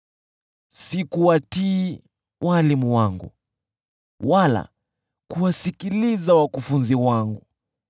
Sikuwatii walimu wangu wala kuwasikiliza wakufunzi wangu.